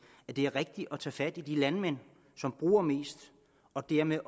at det er rigtigt at tage fat i de landmænd som bruger mest og dermed